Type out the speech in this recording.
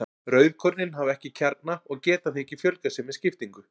Rauðkornin hafa ekki kjarna og geta því ekki fjölgað sér með skiptingu.